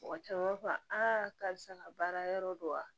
Mɔgɔ caman b'a fɔ aa karisa ka baara yɔrɔ don wa